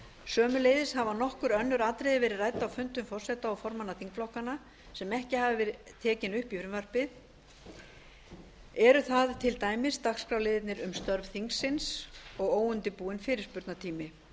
sömuleiðis hafa nokkur önnur atriði verið rædd á fundum forseta og formanna þingflokkanna sem ekki hafa verið tekin upp í frumvarpið eru það til dæmis dagskrárliðirnir um störf þingsins og óundirbúinn fyrirspurnatími